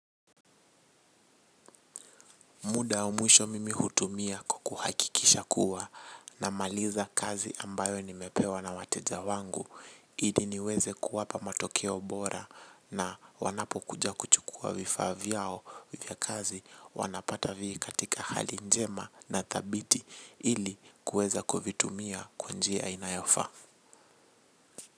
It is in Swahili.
Muda wa mwisho mimi hutumia kwa kuhakikisha kuwa namaliza kazi ambayo nimepewa na wateja wangu. Ili niweze kuwapa matokeo bora na wanapokuja kuchukua vifaa vyao vya kazi wanapata vii katika hali njema na thabiti ili kuweza kuvitumia kwa njia inayofaa.